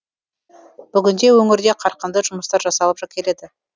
бүгінде өңірде қарқынды жұмыстар жасалып келеді